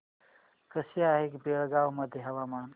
कसे आहे बेळगाव मध्ये हवामान